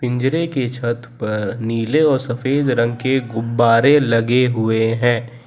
पिंजरे की छत पर नीले और सफेद रंग के गुब्बारे लगे हुए हैं।